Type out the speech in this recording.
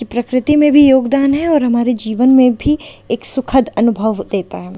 प्रकृति में भी योगदान है और हमारे जीवन में भी एक सुखद अनुभव देता है।